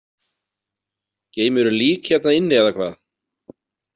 Geymirðu lík hérna inni eða hvað?